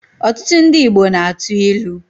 Ọtụtụ ndị Igbo na-atụ ilu.